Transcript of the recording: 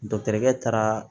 Dɔkitɛrikɛ taara